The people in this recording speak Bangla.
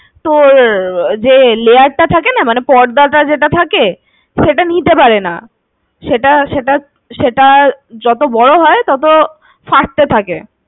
তোর যে layer টা থাকেনা মানে পর্দা টা যেটা থাকে সেটা নিতে পারেনা। সেটা সেটা সেটা যত বড় হয় তত ফাটতে থাকে।